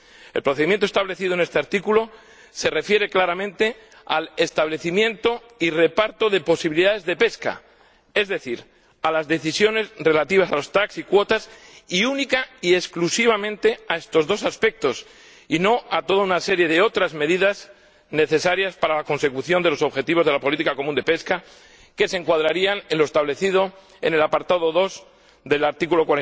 El procedimiento establecido en este artículo se refiere claramente al establecimiento y reparto de las posibilidades de pesca, es decir, a las decisiones relativas a los TAC y las cuotas, y única y exclusivamente a estos dos aspectos y no a toda una serie de otras medidas necesarias para la consecución de los objetivos de la política pesquera común, que se encuadrarían en lo establecido en el apartado 2 del artículo